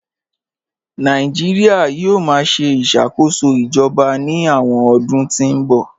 Nàìjíríà yóò máa ṣe ìṣàkóso ìjọba ní àwọn ọdún tí ń bọ̀